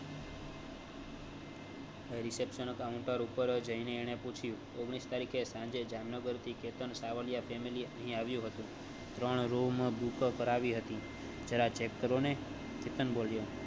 તા reception counter ઉપર જાયઈ ને એને પૂછ્યું ઓગણીસ તરીકે સાંજે જામનગર થી કેતન સાવલિયા family અહીં આવ્યું હતું ત્રણ room book કરવી હતી જરા check કરો ને કેતન બોલિયો